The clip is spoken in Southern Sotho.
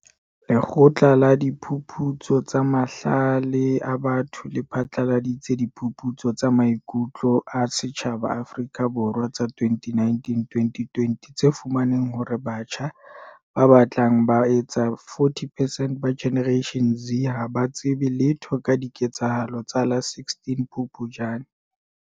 Lekgotla la Diphuputso tsa Mahlale a Batho le phatlaladitse Diphuputso tsa Maiku tlo a Setjhaba Afrika Borwa tsa 2019-2020 tse fumaneng hore batjha ba batlang ba etsa 40 percent ba Generation Z ha ba tsebe letho ka diketsahalo tsa la 16 Phupjane.